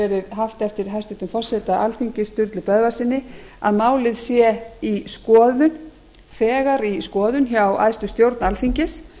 haft eftir hæstvirtum forseta alþingis sturlu böðvarssyni að málið sé þegar í skoðun hjá æðstu stjórn alþingis